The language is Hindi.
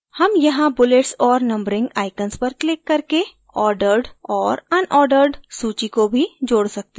हम यहाँ bullets और numbering icons पर क्लिक करके ordered और unordered सूची को भी जोड सकते हैं